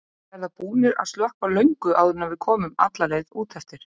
Þeir verða búnir að slökkva löngu áður en við komum alla leið út eftir.